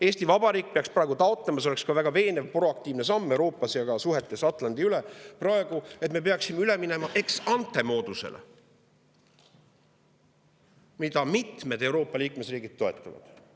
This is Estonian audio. Eesti Vabariik peaks praegu taotlema – see oleks ka väga veenev proaktiivne samm Euroopas ja praegu ka suhetes üle Atlandi –, et me läheksime üle ex-ante-moodusele, mida mitmed Euroopa liikmesriigid toetavad.